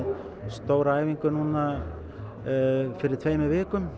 stóra æfingu fyrir tveimur vikum